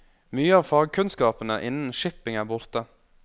Mye av fagkunnskapene innen shipping er borte.